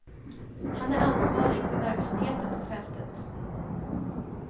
Han är ansvarig för verksamheten på fältet.